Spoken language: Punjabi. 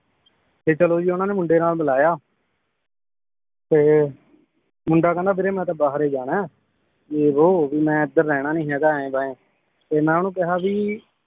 ਤੇ ਚਲੋ ਜੀ ਉਹਨਾਂ ਨੇ ਮੁੰਡੇ ਨਾਲ ਮਿਲਾਇਆ ਮੁੰਡਾ ਕਹਿੰਦਾ ਵੀਰੇ ਮੈ ਤਾਂ ਬਾਹਰ ਈ ਜਾਣਾ ਏ ਯੇ ਵੋ ਵੀ ਮੈ ਏਧਰ ਰਹਿਣਾ ਨੀ ਹੈਗਾ ਏਂ ਬੈਂ ਤੇ ਮੈ ਓਹਨੂੰ ਕਿਹਾ ਬੀ